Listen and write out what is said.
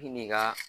I ni ka